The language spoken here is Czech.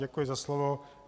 Děkuji za slovo.